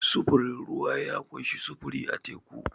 Sufurin ruwa ya ƙunshi sufuri a teku.